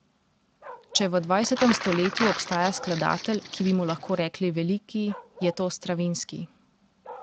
Če v dvajsetem stoletju obstaja skladatelj, ki bi mu lahko rekli veliki, je to Stravinski.